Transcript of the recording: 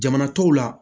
Jamana tɔw la